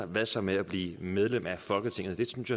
hvad så med at blive medlem af folketinget det synes